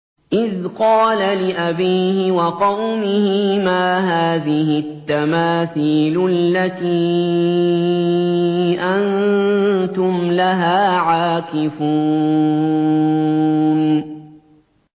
إِذْ قَالَ لِأَبِيهِ وَقَوْمِهِ مَا هَٰذِهِ التَّمَاثِيلُ الَّتِي أَنتُمْ لَهَا عَاكِفُونَ